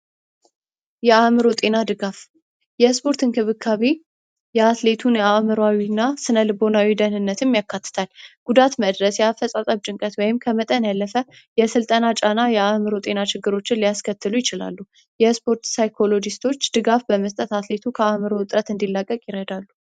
የአዕምሮ ጤና ድጋፍ የስፖርት እንክብካቤ የአትሌቱን የአዕምሮ እና ስነልቦናዊ ደህንነትን ያረጋግጣል። ጉዳት መድረስ ፣የአፈፃፀም ጭንቀት ወይም ከመጠን ያለፈ ስልጠና የአዕምሮ ጤና ችግሮችን ሊያስሰከትሉ ይችላሉ። የስፖርት ሳይኮሎጅስቶች ድጋፍ በመስጠት አትሌቶች ከአዕምሮ ጤና እጥረት እንዲላቀቅ ይረዳሉ።